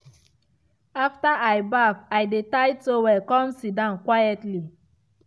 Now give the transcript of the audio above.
after i baff i dey tie towel come sidon quietly.